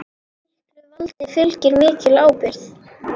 Miklu valdi fylgir mikil ábyrgð.